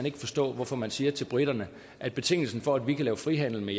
ikke forstå hvorfor man siger til briterne at betingelsen for at vi kan lave frihandel med